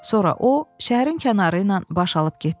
Sonra o şəhərin kənarı ilə baş alıb getdi.